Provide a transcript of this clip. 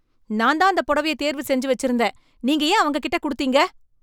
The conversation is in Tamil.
நான் தான் அந்த புடவைய தேர்வு செஞ்சு வச்சிருந்தேன், நீங்க ஏன் அவங்க கிட்ட கொடுத்தீங்க?